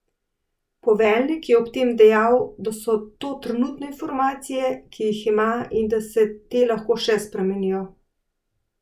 Poveljnik je ob tem dejal, da so to trenutne informacije, ki jih ima, in da se te lahko še spremenijo.